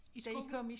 I skolen?